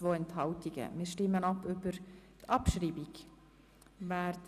Nun stimmen wir über ihre Abschreibung ab.